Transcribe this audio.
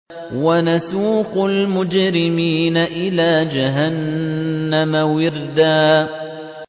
وَنَسُوقُ الْمُجْرِمِينَ إِلَىٰ جَهَنَّمَ وِرْدًا